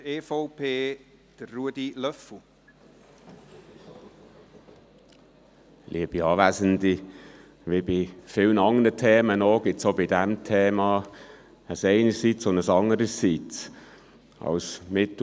Wie bei vielen anderen Themen, gibt es auch bei diesem Thema ein «einerseits» und ein «andererseits».